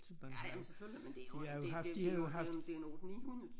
Som man har de har jo haft de har jo haft